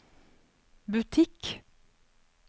butikk